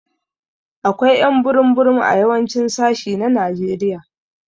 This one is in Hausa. Akwai ƴ'an burum burum a yawancin sashi na Najeriya.